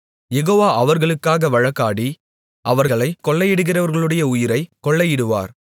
யெகோவா அவர்களுக்காக வழக்காடி அவர்களைக் கொள்ளையிடுகிறவர்களுடைய உயிரைக் கொள்ளையிடுவார்